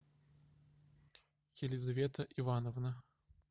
елизавета ивановна